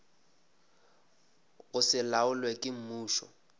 go se laolwe ke mmušo